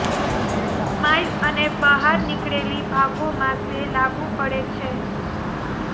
smile અને બહાર નીકળેલી ભાગોમાં તે લાગુ પડે છે